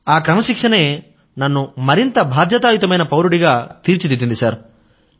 ఆ క్రమశిక్షణే నన్ను మరింత బాధ్యతాయుతమైన పౌరుడిగా తీర్చిదిద్దింది సర్